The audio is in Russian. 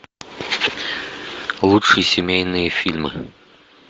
лучшие семейные фильмы